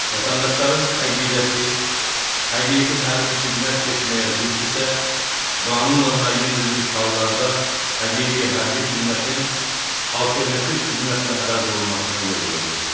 Vətəndaşların əqidəsi həqiqi hərbi xidmət keçməyə ziddirsə, qanunla müəyyən edilmiş hallarda həqiqi hərbi xidmətin alternativ xidmətlə əvəz olunmasına yol verilir.